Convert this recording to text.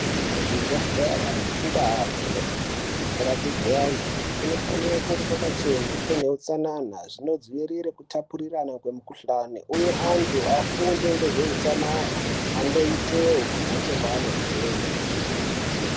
Kuzvibhedhlera nekundaa dzinorapigwe antu ,kunofanire kunge kwakachena kune utsanana. Zvinodziirire kutapurirana kwemikhuhlani , uye antu afunde ngezve utsanana andoitewo kumhatso kwaanobveyo.